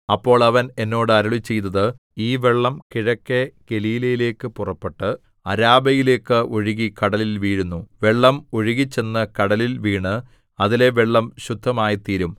അപ്പോൾ അവൻ എന്നോട് അരുളിച്ചെയ്തത് ഈ വെള്ളം കിഴക്കെ ഗലീലയിലേക്ക് പുറപ്പെട്ട് അരാബയിലേക്ക് ഒഴുകി കടലിൽ വീഴുന്നു വെള്ളം ഒഴുകിച്ചെന്ന് കടലിൽ വീണ് അതിലെ വെള്ളം ശുദ്ധമായിത്തീരും